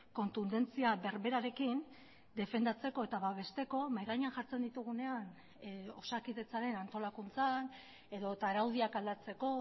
kontundentzia berberarekin defendatzeko eta babesteko mahai gainean jartzen ditugunean osakidetzaren antolakuntzan edota araudiak aldatzeko